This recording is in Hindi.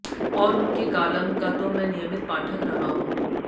और उन के कालम का तो मैं नियमित पाठक रहा हूं